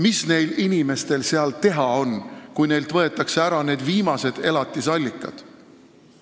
Mis neil inimestel seal teha on, kui neilt võetakse ära need viimased elatusallikad?